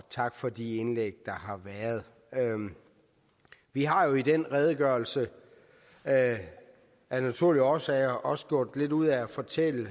tak for de indlæg der har været vi har jo i den redegørelse af naturlige årsager også gjort lidt ud af at fortælle